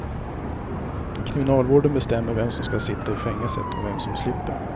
Kriminalvården bestämmer vem som skall sitta i fängelset och vem som slipper.